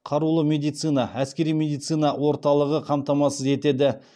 қарулы медицина әскери медицина орталығы қамтамасыз етеді